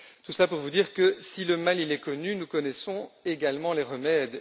Tout cela pour vous dire que si le mal est connu, nous connaissons également les remèdes.